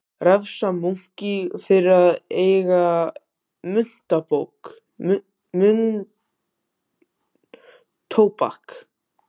Refsa munki fyrir að eiga munntóbak